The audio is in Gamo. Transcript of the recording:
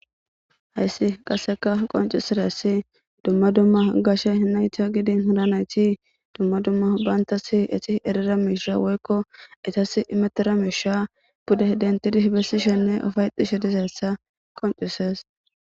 hayssi qasseka qoncisiressi dumma dumma gashe hinaytiyo gidin hinanayti dumma dumma bayantasi eti erira miisha woykko etas imetera miisha pude dentidi hibesishenne ofayxishe dizeessa qoncisees